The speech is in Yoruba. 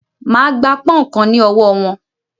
Máà gba pọ́ùnkan ní ọwọ́ wọn!